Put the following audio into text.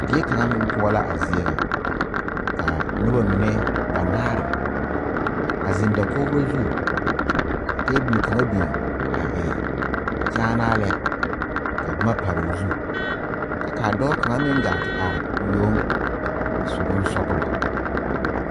Die kaŋa meŋ poɔ la a zie ŋa ka noba mine banaare a zeŋ dakogro zu ka tabol kaŋa biŋ a e kyaanaa lɛ ka boma pare o zu Kyɛ ka dɔɔ kaŋa meŋ gaa te are o yoŋ a su bonsɔglɔ.